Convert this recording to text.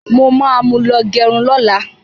Mo ma mú lọ gẹrun lọ́la.